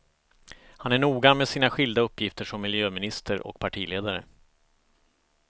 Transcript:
Han är noga med sina skilda uppgifter som miljöminister och partiledare.